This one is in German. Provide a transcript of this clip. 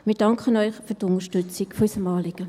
Wir danken Ihnen für die Unterstützung unseres Anliegens.